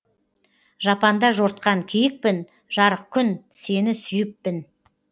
жапанда жортқан киікпін жарық күн сені сүйіппін